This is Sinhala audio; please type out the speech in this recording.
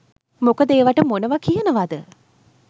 මොකද ඒවට මොනවා කියනවද